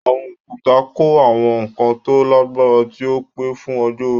Àwọn òkúta kọ́ àwọn nǹkan tó lágbára tí ó pẹ́ fún ọjọ́ orí.